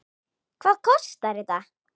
Hvað kostar þetta?